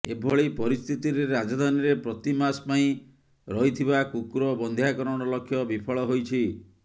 ଏଭଳି ପରିସ୍ଥିତିରେ ରାଜଧାନୀରେ ପ୍ରତି ମାସ ପାଇଁ ରହିଥିବା କୁକୁର ବନ୍ଧ୍ୟାକରଣ ଲକ୍ଷ୍ୟ ବିଫଳ ହୋଇଛି